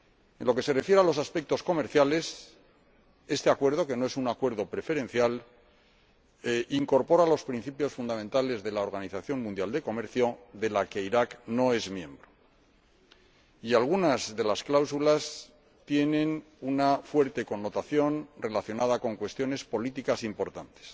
En lo que se refiere a los aspectos comerciales, este Acuerdo, que no es un acuerdo preferencial, incorpora los principios fundamentales de la Organización Mundial de Comercio, de la que Irak no es miembro, y algunas de las cláusulas tienen una fuerte connotación relacionada con cuestiones políticas importantes